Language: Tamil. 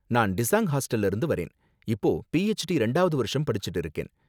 நான் டிஸாங் ஹாஸ்டல்ல இருந்து வரேன், இப்போ பிஹெச்டி ரெண்டாவது வருஷம் படிச்சுட்டு இருக்கேன்